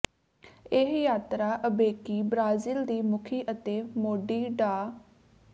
ਇਹ ਯਾਤਰਾ ਅਬੇਕੀ ਬ੍ਰਾਜ਼ੀਲ ਦੀ ਮੁਖੀ ਅਤੇ ਮੋਢੀ ਡਾ